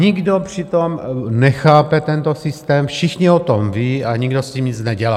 Nikdo přitom nechápe tento systém, všichni o tom vědí a nikdo s tím nic nedělá.